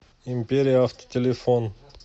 империя авто телефон